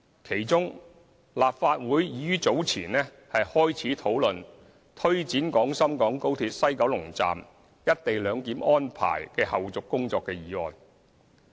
其中，立法會已於早前開始討論推展廣深港高鐵西九龍站"一地兩檢"安排的後續工作的議案。